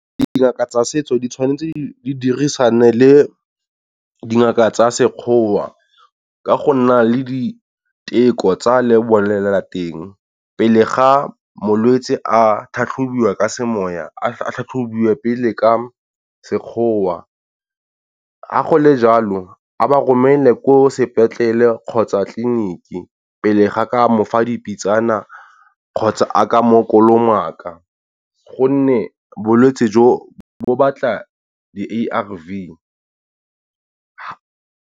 Dingaka tsa setso di tshwanetse di dirisane le dingaka tsa sekgowa ka go nna le diteko tsa le bolelelateng, pele ga molwetse a tlhatlhobiwa ka semoya a tlhatlhobiwe pele ka sekgowa. Ga gole jalo a ba romelwe ko sepetlele kgotsa tleliniki pele ga ka mofa dipitsana kgotsa a ka mo kolomaka gonne bolwetse jo bo batla di-A_R_V.